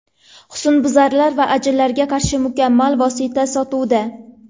Husnbuzar va ajinlarga qarshi mukammal vosita sotuvda.